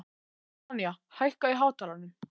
Sonja, hækkaðu í hátalaranum.